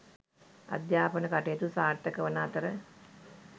අධ්‍යාපන කටයුතු සාර්ථකවන අතර